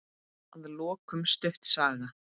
Að lokum stutt saga.